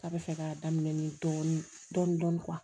K'a bɛ fɛ ka daminɛ ni dɔɔnin dɔɔnin